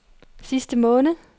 sidste måned